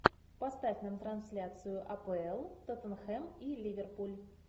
поставь нам трансляцию апл тоттенхэм и ливерпуль